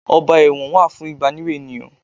Ọgbà ẹ̀wọ̀n wà fún ìbániwí ènìyàn.